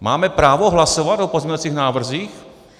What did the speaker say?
Máme právo hlasovat o pozměňovacích návrzích?